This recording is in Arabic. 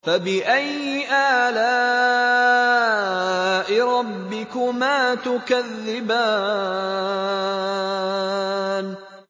فَبِأَيِّ آلَاءِ رَبِّكُمَا تُكَذِّبَانِ